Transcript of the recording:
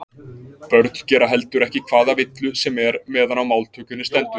börn gera heldur ekki hvaða villu sem er meðan á máltökunni stendur